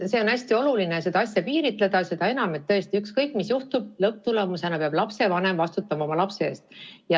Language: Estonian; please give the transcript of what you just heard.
On hästi oluline seda asja piiritleda, seda enam, et tõesti, ükskõik mis juhtub, lõpptulemusena peab lapsevanem vastutama oma lapse eest.